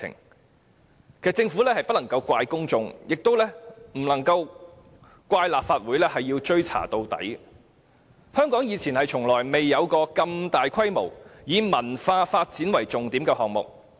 其實，政府不能怪責公眾，亦不能怪責立法會誓要追查到底，因為香港從無如此大規模並以文化發展為重點的項目。